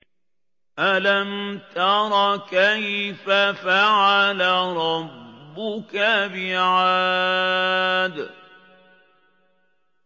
أَلَمْ تَرَ كَيْفَ فَعَلَ رَبُّكَ بِعَادٍ